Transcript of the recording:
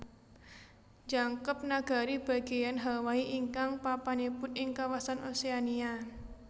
Njangkep Nagari Bagéyan Hawaii ingkang papanipun ing kawasan Oceania